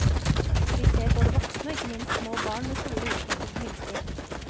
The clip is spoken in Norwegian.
Vi ser både voksne og ikke minst små barn med store utslett etter myggstikk.